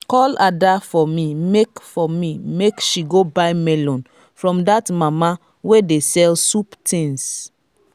call ada for me make for me make she go buy melon from dat mama wey dey sell soup things